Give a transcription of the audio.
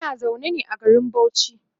Muna zaune ne a garin Bauchi